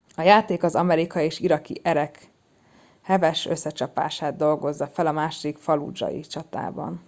a játék az amerikai és iraki erek heves összecsapását dolgozza fel a második fallúdzsai csatában